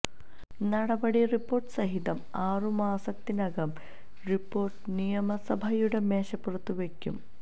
നടപടി റിപ്പോർട്ട് സഹിതം ആറു മാസത്തിനകം റിപ്പോർട്ട് നിയമസഭയുടെ മേശപ്പുറത്തു വയ്ക്കും